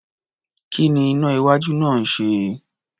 Kí ni iná-iwájú náà ń ṣe?